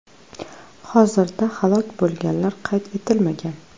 Hozirda halok bo‘lganlar qayd etilmagan.